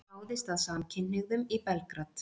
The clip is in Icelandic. Ráðist að samkynhneigðum í Belgrad